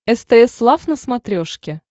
стс лав на смотрешке